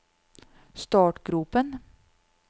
startgropen